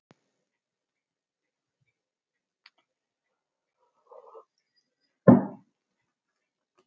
Þar slitnar samfylgd þingmanna og gagnfræðaskólakennara hvað launakjör varðar.